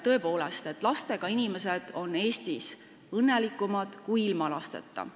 Tõepoolest, lastega inimesed on Eestis õnnelikumad kui ilma lasteta inimesed.